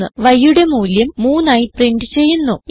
yയുടെ മൂല്യം 3 ആയി പ്രിന്റ് ചെയ്യുന്നു